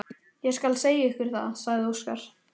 Ég skal segja ykkur það, sagði Óskar.